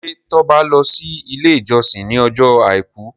ṣe Toba lọ si ile ijọsin ní Ọjọ́ aìkú?